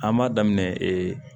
An b'a daminɛ